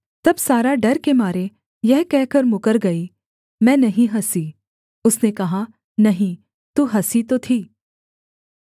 तब सारा डर के मारे यह कहकर मुकर गई मैं नहीं हँसी उसने कहा नहीं तू हँसी तो थी